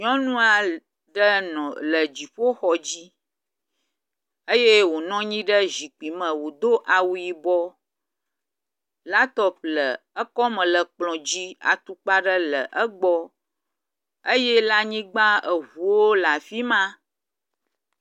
Nyɔnu aɖe le dziƒoxɔ dzi eye wonɔ anyi ɖe zikpui me, wodo awu yibɔ, lapitɔpi le ekɔme le kplɔ̃ dzi, atukpa aɖe le egbɔ eye le anyigba, ŋuwo le afi ma.